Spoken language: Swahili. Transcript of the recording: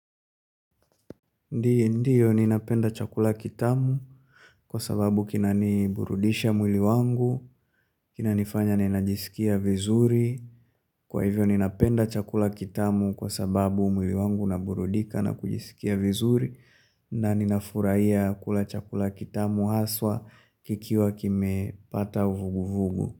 Ndiyo ninapenda chakula kitamu kwa sababu kinaniburudisha mwili wangu, kinanifanya ninajisikia vizuri. Kwa hivyo ninapenda chakula kitamu kwa sababu mwili wangu naburudika na kujisikia vizuri na ninafurahia kula chakula kitamu haswa kikiwa kimepata uvuguvugu.